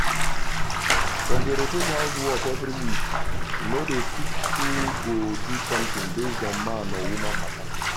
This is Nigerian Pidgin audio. dem dey rotate house work every week no dey fix who go do something based on man or woman matter